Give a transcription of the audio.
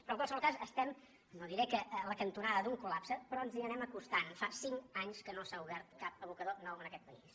però en qualsevol cas estem no diré que a la cantonada d’un col·lapse però ens hi anem acostant fa cinc anys que no s’ha obert cap abocador nou en aquest país